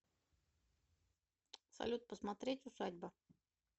салют посмотреть усадьба